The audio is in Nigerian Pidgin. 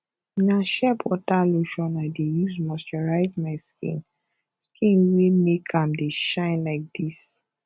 na sheerbutter lotion i dey use moisturize my skin skin wey make am dey shine like dis